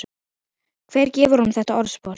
Hver gefur honum þetta orðspor?